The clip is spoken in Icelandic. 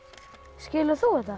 skilur þú þetta